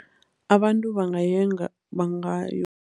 Abantu